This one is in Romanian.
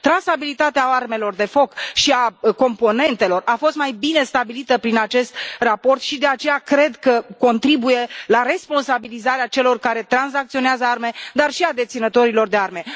Trasabilitatea armelor de foc și a componentelor a fost mai bine stabilită prin acest raport și, de aceea, cred că contribuie la responsabilizarea celor care tranzacționează arme, dar și a deținătorilor de arme.